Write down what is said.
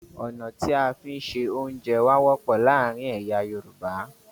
Ọ̀nà tí a fi ń ṣẹ oúnjẹ wà wọ́pọ̀ láàárín èyà Yorùbá